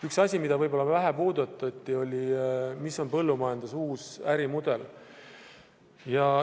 Üks asi, mida võib-olla vähe puudutati, on põllumajanduse uus ärimudel.